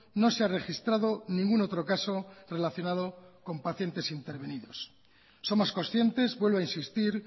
no se ha registrado ningún otro caso relacionado con pacientes intervenidos somos conscientes vuelvo a insistir